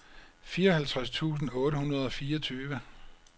fireoghalvtreds tusind otte hundrede og fireogtyve